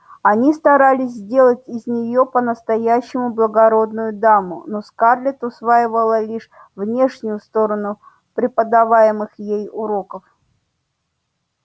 они старались сделать из неё по-настоящему благородную даму но скарлетт усваивала лишь внешнюю сторону преподаваемых ей уроков